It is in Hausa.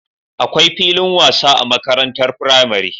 Akwai filin wasa a makarantar firamare